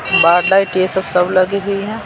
बार light ये सब सब लगी हुई हैं।